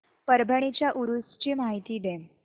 परभणी च्या उरूस ची माहिती दे